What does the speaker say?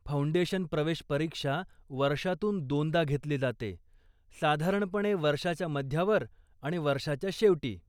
Foundation प्रवेश परीक्षा वर्षातून दोनदा घेतली जाते, साधारणपणे वर्षाच्या मध्यावर आणि वर्षाच्या शेवटी.